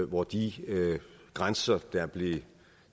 hvor de grænser der blev